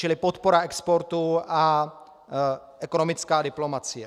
Čili podpora exportu a ekonomická diplomacie.